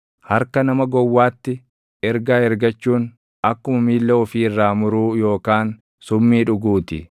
Harka nama gowwaatti ergaa ergachuun, akkuma miilla ofii irraa muruu yookaan summii dhuguu ti.